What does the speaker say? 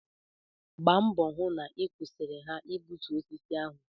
Gba mbọ hụ na ị kwụsịrị ha igbutu osisi ahụ!